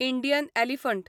Indian elephant